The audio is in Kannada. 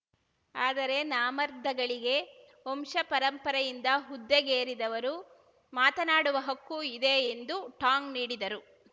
ಆದರೆ ನಾಮರ್ದಗಳಿಗೆ ವಂಶಪಾರಂಪರ‍ಯಿಂದ ಹುದ್ದೆಗೇರಿದವರು ಮಾತನಾಡುವ ಹಕ್ಕು ಇದೆ ಎಂದು ಟಾಂಗ್‌ ನೀಡಿದರು